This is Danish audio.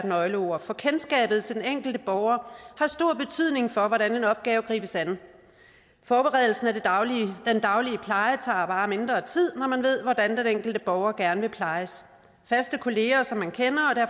nøgleord for kendskabet til den enkelte borger har stor betydning for hvordan en opgave gribes an forberedelsen af den daglige pleje tager bare mindre tid når man ved hvordan den enkelte borger gerne vil plejes faste kolleger som man kender